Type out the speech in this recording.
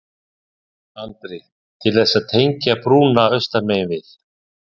Andri: Til þess að tengja brúnna austan megin við?